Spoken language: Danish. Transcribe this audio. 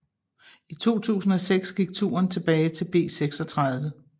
I 2006 gik turen tilbage til B36